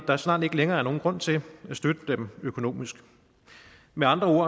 der snart ikke længere er nogen grund til at støtte dem økonomisk med andre ord